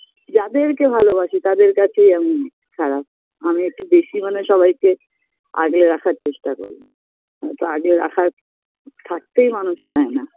যাদেরকে ভালোবাসি তাদের কাছেই আমি খারাপ আমি একটু বেশি মনে হয় সবাইকে আগলে রাখার চেষ্টা করি নয়তো আগলে রাখার থাকতেই মানুষ চায়না